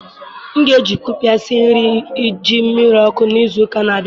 M ga-eji Kaụpịe sie nri ji miri oku n'izu ụka na-abịa